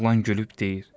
Oğlan gülüb deyir.